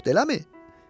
Yoxdur eləmi?